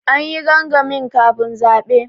An yi gangami kafin zaɓe.